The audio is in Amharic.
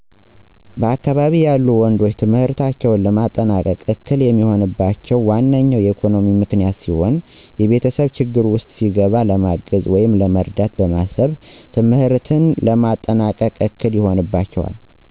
በአካባቢየ ያሉ ወንዶች ትምህርታቸውን ለማጠናቀቅ እክል የሚሆንባቸው ዋነኞው ኢኮኖሚያዊ ምክንያት ሲሆን የቤተሰብ ችግር ውስጥ ሲገባ ለማገዝ ወይም ለመርዳት በማሰብ ትምህርትን ለማጠናቀቅ እክል ይሆንባቸዋል።